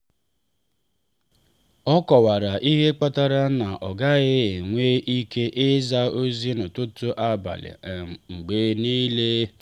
ọ kọwara ihe kpatara na ọ gaghị enwe ike ịza ozi n’ụtụtụ abalị um mgbe niile.